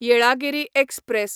Yelagiri express